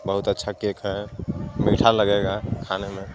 बोहोत अच्छा केक हे मीठा लगेगा खाने मे.